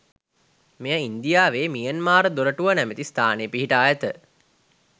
මෙය ඉන්දියාවේ මියන්මාර් දොරටුව නමැති ස්ථානයේ පිහිටා ඇත.